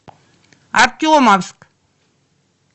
артемовск